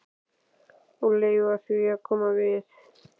Og leyfa því að koma við mig.